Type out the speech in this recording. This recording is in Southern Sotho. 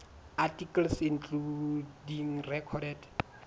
articles including recorded